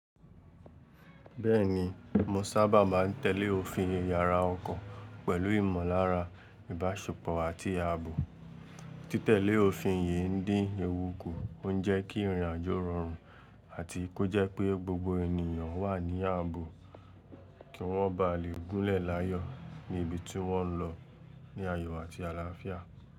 Bẹ́ẹ̀ni mo sábà máa ń tẹ̀lé òfin iyàrá ọkọ̀ pẹ̀lú ìmọ̀lára ìbáṣepọ̀ àti ààbò. Títẹ̀lé òfin yìí ń dín ewu kù, ó ń jẹ́ kí ìrìnàjò rọrùn àti kó jẹ́ pé gbogbo ènìyàn wà ní ààbò kí wọ́n ba lè gúnlẹ̀ láàyò ní ibi tí wọ́n ń lọ ní àyo àti àlàáfíà.